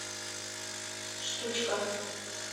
штучка